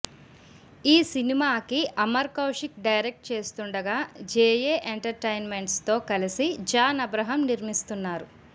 ఈ సినిమాకి అమర్ కౌశిక్ డైరెక్ట్ చేస్తుండగా జేఏ ఎంటర్టైన్మెంట్స్ తో కలిసి జాన్ అబ్రహం నిర్మిస్తున్నారు